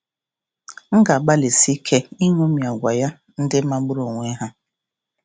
M ga-agbalịsi ike iṅomi agwa ya ndị magburu onwe ha"